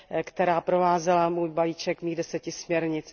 který provázel můj balíček deseti směrnic.